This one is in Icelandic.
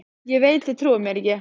Ég veit þið trúið mér ekki.